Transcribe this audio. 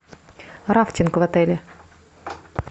рафтинг в отеле